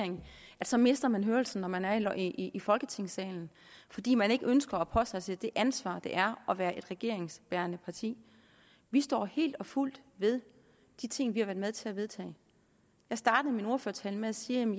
så mister man hørelsen når man er i i folketingssalen fordi man ikke ønsker at påtage sig det ansvar det er at være et regeringsbærende parti vi står helt og fuldt ved de ting vi har været med til at vedtage jeg startede min ordførertale med at sige at